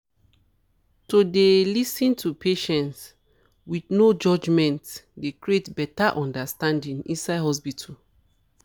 to dey lis ten to patients with no judgement dey create better understanding inside hospitals